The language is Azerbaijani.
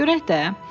Görək də.